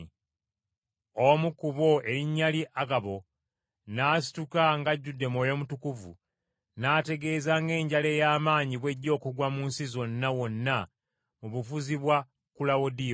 Omu ku bo erinnya lye Agabo n’asituka ng’ajjudde Mwoyo Mutukuvu n’ategeeza ng’enjala ey’amaanyi bw’ejja okugwa mu nsi zonna wonna mu bufuzi bwa Kulawudiyo.